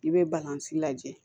I bɛ balanzi lajɛ